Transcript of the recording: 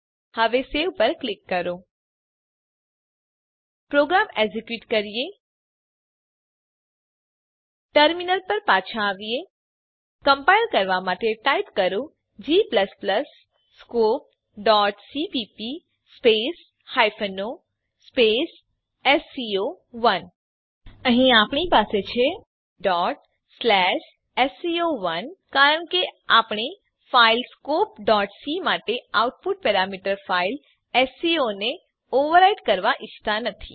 હવે સવે પર ક્લિક કરો પ્રોગ્રામને એક્ઝેક્યુટ કરીએ ટર્મીનલ પર પાછા આવીએ કમ્પાઈલ કરવાં માટે ટાઈપ કરો g scopeસીપીપી o એસસીઓ1 અહીં આપણી પાસે છે sco1 કારણ કે આપણે ફાઈલ scopeસી માટે આઉટપુટ પેરામીટર ફાઈલ એસસીઓ ને ઓવરરાઈટ કરવાં ઈચ્છતા નથી